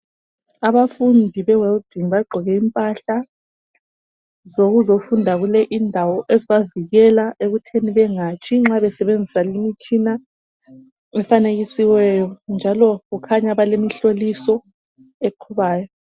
Abafundi bewelding bagqoke impahla zokuzofunda kule indawo ezibavikela ekuthini bengatshi nxa besebenzisa lumtshina efanekisiweyo njalo kukhanya bale mhloliso eqhubayo.